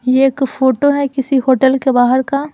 ये एक फोटो है किसी होटल के बाहर का--